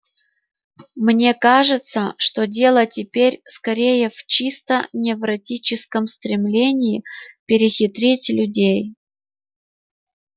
мне кажется что дело теперь скорее в чисто невротическом стремлении перехитрить людей